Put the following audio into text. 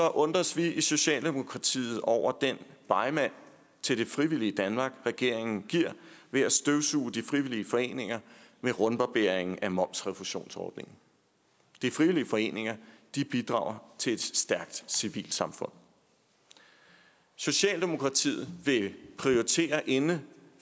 undres vi i socialdemokratiet over den begmand til det frivillige danmark regeringen giver ved at støvsuge de frivillige foreninger med rundbarberingen af momsrefusionsordningen de frivillige foreninger bidrager til et stærkt civilsamfund socialdemokratiet vil prioritere inden